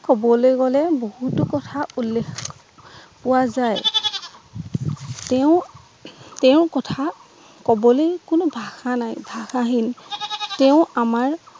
কবলৈ গলে বহুতো কথা উল্লেখ পোৱা যায় তেওঁৰ তেওঁৰ কথা কবলৈ কোনো ভাষা নাই ভাষাহীন তেওঁ আমাৰ